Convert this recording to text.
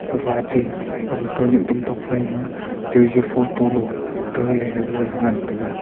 gapha atey aga khanyek dam tokphaima jaji photo lo taley gagana ngan taiga.